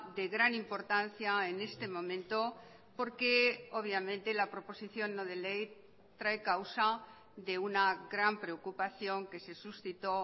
de gran importancia en este momento porque obviamente la proposición no de ley trae causa de una gran preocupación que se suscitó